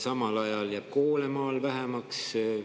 Samal ajal jääb koole maal vähemaks.